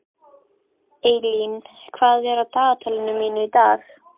Eylín, hvað er á dagatalinu mínu í dag?